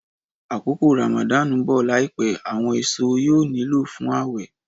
Akoko Ramadan n bọ laipẹ, awọn eso yóò niló fun ãwẹ.